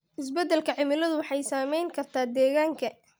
Isbeddelka cimiladu waxay saameyn kartaa deegaanka.